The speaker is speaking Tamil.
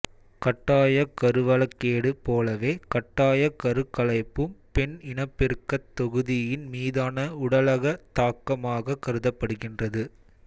கட்டாயக் கருவளக்கேடு போலவே கட்டாயக் கருக்கலைப்பும் பெண் இனப்பெருக்கத் தொகுதியின் மீதான உடலக தாக்கமாக கருதப்படுகின்றது